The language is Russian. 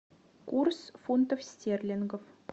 курс фунтов стерлингов